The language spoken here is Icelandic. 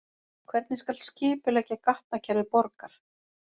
Hvernig skal skipuleggja gatnakerfi borgar?